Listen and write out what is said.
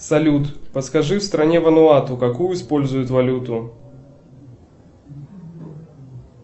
салют подскажи в стране вануату какую используют валюту